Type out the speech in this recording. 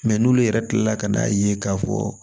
Mɛ n'olu yɛrɛ kilala ka n'a ye k'a fɔ